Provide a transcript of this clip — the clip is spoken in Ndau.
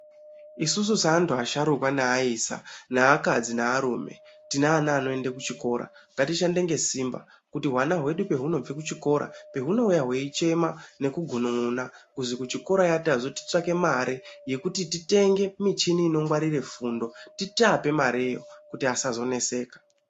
Isusu seantu asharuka neaisa neakadzi nearume tine ana anoende kuchikora. Ngatishande ngesimba kuti hwana hedu pahunobve kuchikora hunouya hweichema nekugunun'una kuzi kuchikorayo tazi titsvake mare yekuti titenge michini inongwarire fundo tiape mareyo kuti asazoneseka.